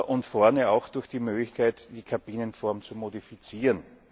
und vorne durch die Möglichkeit, die Kabinenform zu modifizieren.